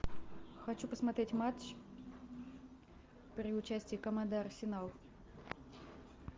хочу посмотреть матч при участии команды арсенал